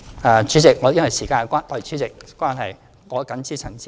代理主席，由於時間關係，我謹此陳辭，希望大家支持議案。